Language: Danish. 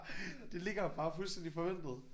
Det ligger der bare fuldstændig forventet